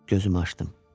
Gözümü açdım.